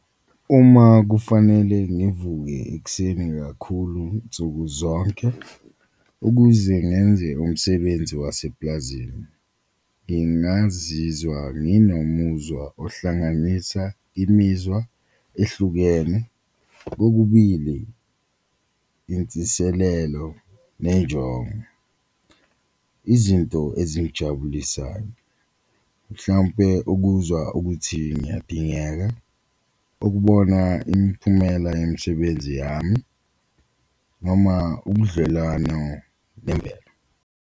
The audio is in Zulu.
Uma kufanele ngivuke ekuseni kakhulu nsuku zonke ukuze ngenze umsebenzi waseplazini ngingazizwa nginomuzwa ohlanganisa imizwa ehlukene kokubili insiselelo nenjongo. Izinto ezingijabulisayo mhlawumpe ukuzwa ukuthi ngiyadingeka, ukubona imiphumela yemisebenzi yami noma ubudlelwano bemvelo.